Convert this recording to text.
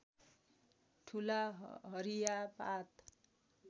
ठूला हरिया पात